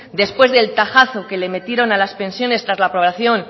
después del tajazo que le metieron a las pensiones tras la espoliación